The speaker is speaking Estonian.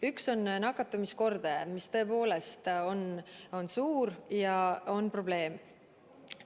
Üks on nakatumiskordaja, mis tõepoolest on suur ja on probleem.